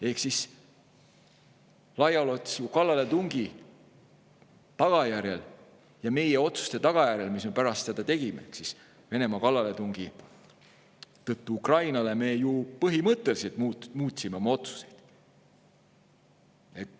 Ehk siis Venemaa laiaulatusliku kallaletungi tagajärjel ja meie otsuste tõttu, mis me pärast seda tegime, me ju põhimõtteliselt muutsime oma otsuseid.